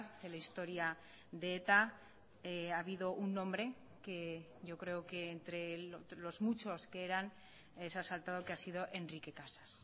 de la historia de eta ha habido un nombre que yo creo que entre los muchos que eran se ha saltado que ha sido enrique casas